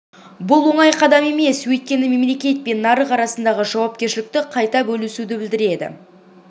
бұл оңай қадам емес өйткені мемлекет пен нарық арасындағы жауапкершілікті қайта бөлісуді білдіреді